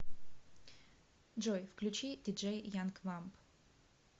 джой включи диджей янг вамп